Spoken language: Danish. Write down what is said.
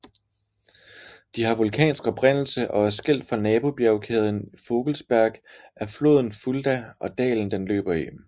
De har vulkansk oprindelse og er skilt fra nabobjegkæden Vogelsberg af floden Fulda og dalen den løber i